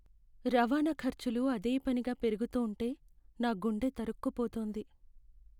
రవాణా ఖర్చులు అదేపనిగా పెరుగుతూంటే నా గుండె తరుక్కుపోతోంది.